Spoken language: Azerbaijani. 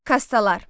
Kastalar.